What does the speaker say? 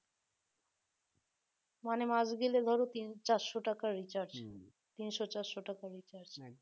মানে মাস গেলে ধরো তিন চারশো টাকা recharge তিনশো চারশো টাকার recharge